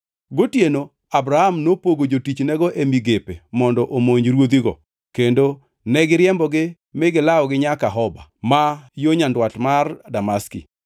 Gotieno Abram nopogo jotichnego e migepe mondo omonj ruodhigo kendo negiriembogi mi gilawogi nyaka Hoba, ma yo nyandwat mar Damaski.